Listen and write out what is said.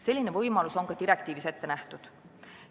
Selline võimalus on ka direktiivis ette nähtud.